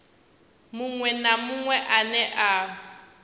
muṅwe na muṅwe ane a